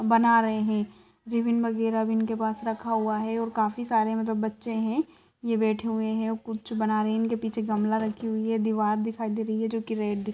बना रहे हैं रिब्बिन वगैरह इनके पास रखा हुआ हैं और काफी सारे मतलब बच्चे हैं ये बैठे हुए हैं कुछ बना रहे हैं पीछे गमला रखी हुई हैं दवाल दिखाई दे रही हैं। जो रेड दि --